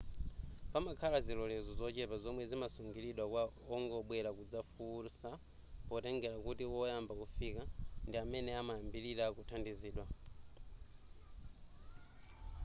pamakhala zilolezo zochepa zomwe zimasungiridwa kwa ongobwera kudzafunsa potengera kuti woyamba kufika ndi amene amayambirira kuthandizidwa